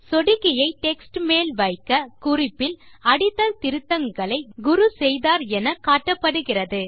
சொடுக்கியை டெக்ஸ்ட் மேல் வைக்க குறிப்பில் அடித்தல் திருத்தங்களை குரு செய்தார் என காட்டப்படுகிறது